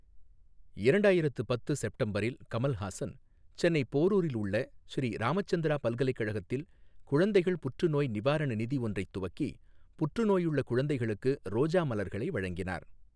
இரண்டாயிரத்து பத்து செப்டம்பரில் கமல்ஹாசன் சென்னை போரூரில் உள்ள ஸ்ரீ ராமச்சந்திரா பல்கலைக்கழகத்தில் குழந்தைகள் புற்றுநோய் நிவாரண நிதி ஒன்றைத் துவக்கி புற்றுநோயுள்ள குழந்தைகளுக்கு ரோஜா மலர்களை வழங்கினார்.